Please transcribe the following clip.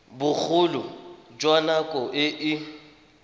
bogolo jwa nako e e